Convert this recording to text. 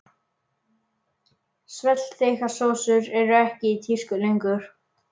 Svellþykkar sósur eru ekki í tísku lengur.